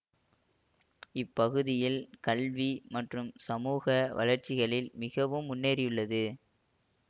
இப்பகுதியில் கல்வி மற்றும் சமூக வளர்சிகளில் மிகவும் முன்னேறியுள்ளது